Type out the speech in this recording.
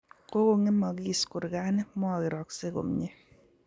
Kokong'emagis kurgani, mokeraksey komnye